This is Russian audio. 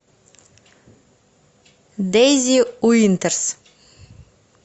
дейзи уинтерс